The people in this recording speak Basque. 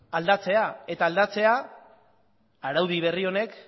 aldatzea eta aldatzea araudi berri honek